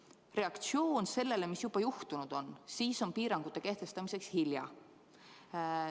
Kui reageerida piirangutega sellele, mis juba juhtunud on, siis on see liiga hilja.